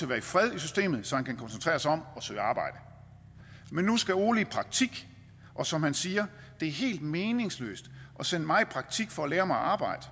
være i fred i systemet så han kan koncentrere sig om at søge arbejde men nu skal ole i praktik og som han siger det er helt meningsløst at sende mig i praktik for at lære mig at arbejde